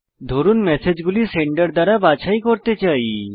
ধরুন ম্যাসেজগুলি সেন্ডার দ্বারা বাছাই করতে চাই